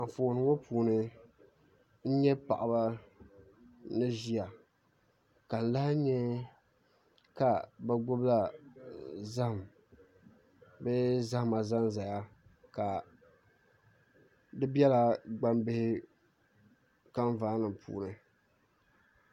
Anfooni ŋɔ puuni n nyɛ paɣaba ni ʒiya ka n lahi nyɛ ka bi gbubila zaham ni zahama ʒɛnʒɛya ka di biɛla gbambihi kanvaa nim puuni